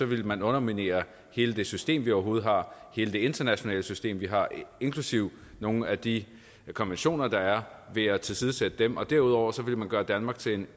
ville man underminere hele det system vi overhovedet har hele det internationale system vi har inklusive nogle af de konventioner der er ved at tilsidesætte dem og derudover ville man gøre danmark til